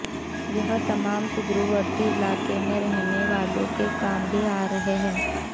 यह तमाम सुदूरवर्ती इलाकों में रहने वालों के काम भी आ रहा है